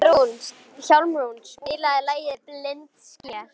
Hjálmrún, spilaðu lagið „Blindsker“.